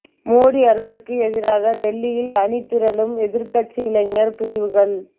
மோடி அரசுக்கு எதிராக டெல்லியில் அணி திரளும் எதிர்க்கட்சி இளைஞர் பிரிவுகள்